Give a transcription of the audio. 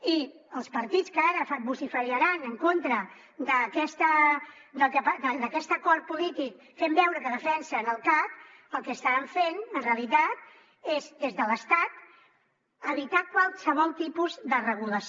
i els partits que ara vociferaran en contra d’aquest acord polític fent veure que defensen el cac el que estaran fent en realitat és des de l’estat evitar qualsevol tipus de regulació